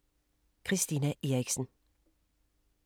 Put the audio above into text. Christina Eriksen